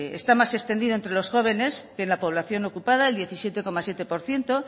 está más extendido entre los jóvenes que en la población ocupada del diecisiete coma siete por ciento